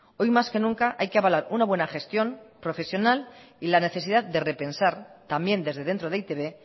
hoy más que nunca hay que avalar una buena gestión profesional y la necesidad de repensar también desde dentro de e i te be